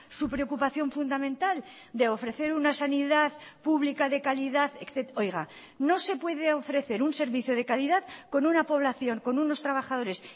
su preocupación fundamental de ofrecer una sanidad pública de calidad oiga no se puede ofrecer un servicio de calidad con una población con unos trabajadores